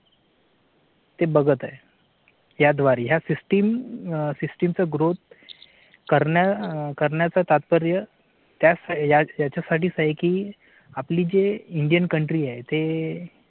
ते बघत आहे याद्वारे या systemsystem चा growth करण्या करण्याचा तात्पर्य त्याच्या साठीच आहे की आपली जे indian country आहे ते